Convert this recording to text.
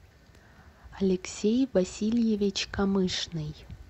алексей васильевич камышный